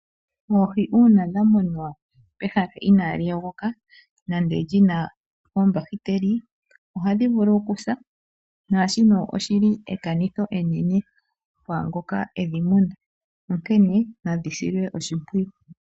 Oohi uuna dha munwa pehala inaa li yogoka nande lyi na oombahiteli ohadhi vulu okusa naashino oshili ekanitho enene kwaa ngoka edhi muna, onkene nadhi silwe oshimpwiyu.